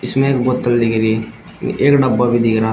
इसमें एक बोतल दिख रही एक डब्बा भी दिख रहा --